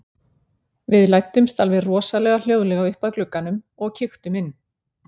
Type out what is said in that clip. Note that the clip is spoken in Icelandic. Við læddumst alveg rosalega hljóðlega upp að glugganum og kíktum inn.